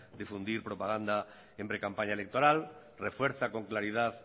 de difundir propaganda en precampaña electoral refuerza con claridad